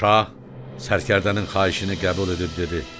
Şah sərkərdənin xahişini qəbul edib dedi: